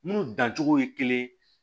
Munnu dancogo ye kelen